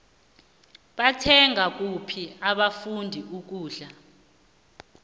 bathenga kuphi abafundi ukudla